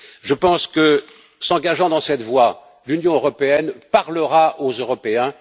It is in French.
Je pense que, s'engageant dans cette voie, l'Union européenne parlera aux Européens